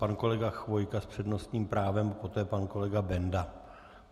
Pan kolega Chvojka s přednostním právem, poté pan kolega Benda.